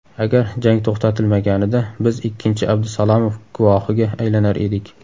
Agar jang to‘xtatilmaganida biz ikkinchi Abdusalamov guvohiga aylanar edik.